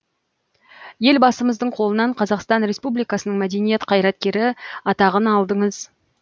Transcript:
елбасымыздың қолынан қазақстан республикасының мәдениет қайраткері атағын алдыңыз